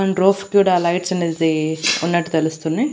And కూడా lights అనేది ఉన్నట్టు తెలుస్తున్నాయ్.